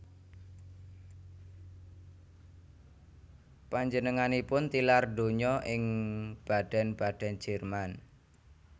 Panjenenganipun tilar donya ing Baden Baden Jerman